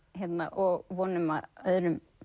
og vonum að öðrum